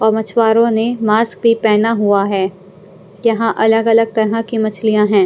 और मछुवारों ने मास्क भी पहना हुआ है यहाँ अलग-अलग तरह की मछलियां हैं।